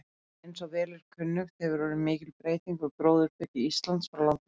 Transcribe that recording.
Eins og vel er kunnugt hefur orðið mikil breyting á gróðurþekju Íslands frá landnámi.